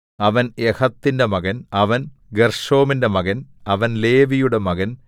അവൻ യഹത്തിന്റെ മകൻ അവൻ ഗെർശോമിന്റെ മകൻ അവൻ ലേവിയുടെ മകൻ